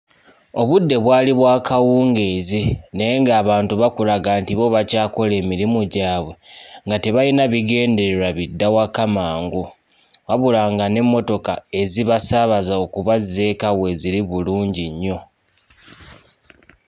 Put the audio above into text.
Obudde bwali bwa kawungeezi naye ng'abantu bakulaga nti bo bakyakola emirimu gyabwe nga tebalina bigendererwa bidda waka mangu. Wabula nga n'emmotoka ezibasaabaza okubazza eka weeziri bulungi nnyo.